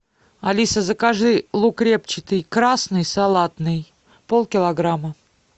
алиса закажи лук репчатый красный салатный полкилограмма